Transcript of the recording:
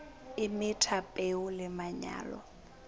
o metha peo le manyolo